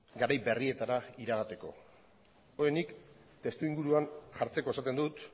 garai berrietara iragateko hori nik testuinguruan jartzeko esaten dut